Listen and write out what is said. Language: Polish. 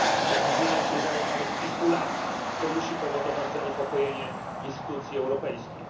Opóźnienia sięgają nawet kilku lat, co musi powodować zaniepokojenie instytucji europejskich.